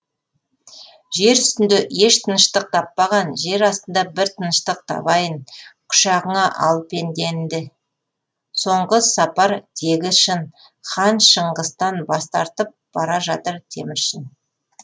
жер үстінде еш тыныштық таппаған жер астында бір тыныштық табайын құшағыңа ал пенденді соңғы сапар тегі шын хан шыңғыстан бас тартып бара жатыр теміршін